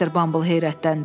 Mr. Bumble heyrətləndi.